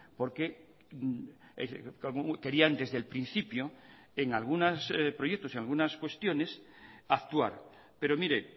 porque querían desde el principio en algunos proyectos y algunas cuestiones actuar pero mire